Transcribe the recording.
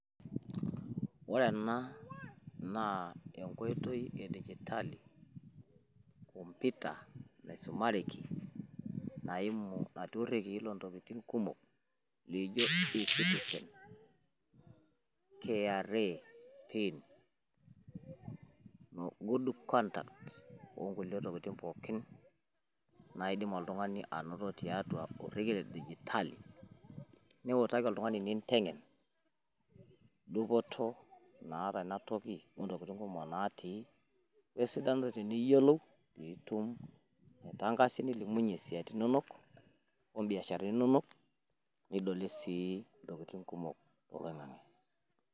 ore ena naa enkoitoi edigitali komputa naisumareki, naimu irekieyi loontokitin kumk laijo, kra ecitizen goodconduct, onkulie tokitin pookin naidim oltungani anoto torekie ledijitali, iutaki oltungani inkoitoi kumko, wesidano teniyiolou, tenitum aitankasa niliuyie ibiasharani inonok osiatin inonok. nidolie sii ntokitin kumok.